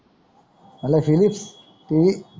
म्हणलं फिलिप तेई